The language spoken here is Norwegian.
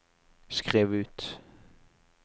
skriv ut